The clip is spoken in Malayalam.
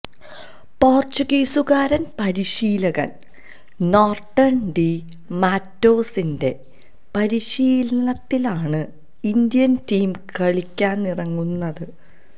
പോർച്ചുഗീസുകാരൻ പരിശീലകൻ നോർട്ടൻ ഡി മാറ്റോസിന്റെ പരിശീലനത്തിലാണ് ഇന്ത്യൻ ടീം കളിക്കാനിറങ്ങുന്നത്